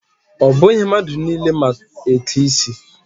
Ọ bụghị mmadụ niile ma eke isi.